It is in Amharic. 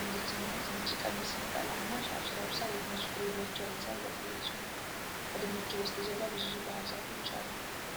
አንድት እናት ነጭ ቀሚስ ፣ ነጠላ እና ሻሽ ለብሳ የድንች ፍሬ በእጇ ይዛ እያሳየች ነው ። ከድንቹ በስተጀርባ ብዙ ባህዛፎች አሉ።